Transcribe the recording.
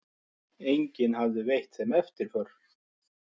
Enginn hafði veitt þeim eftirför.